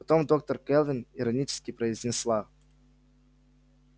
потом доктор кэлвин иронически произнесла